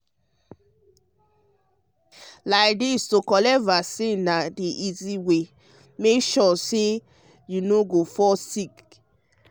like this to collect vaccine ah vaccine ah na easy way to make sure say you no go fall sick.